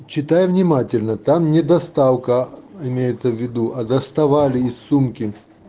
читай внимательно там не доставка имеется в виду а доставали из сумки